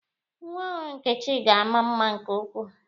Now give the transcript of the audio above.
Nwa ọhụrụ Nkechi ga-ama mma nke ukwuu.